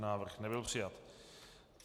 Návrh nebyl přijat.